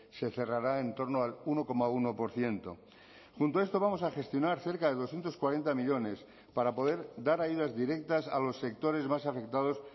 se cerrará en torno al uno coma uno por ciento junto a esto vamos a gestionar cerca de doscientos cuarenta millónes para poder dar ayudas directas a los sectores más afectados